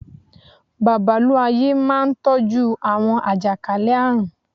Babalú-ayé máa n tọ́jú àwọn àjàkálẹ̀ àrùn